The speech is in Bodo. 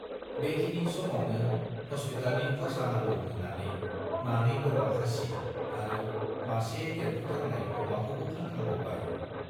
बेखिनि समावनो हस्पितालनि खर्सा नांगौ होननानै मानै बोरमा खासि आरो मासे देरफुथारनाय अमाखौबो फानखांबावबाय।